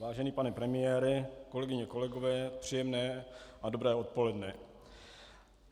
Vážený pane premiére, kolegyně, kolegové, příjemné a dobré odpoledne.